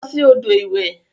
Losi odo iwe.